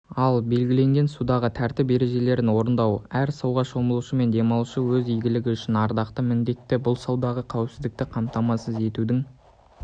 ал белгіленген судағы тәртіп ережерін орындау әр суға шомылушы мен демалушының өз игілігі үшін ардақты міндеті бұл судағы қауіпсіздікті қамтамасыз етудің